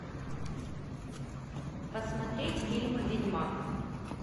посмотреть фильмы ведьмак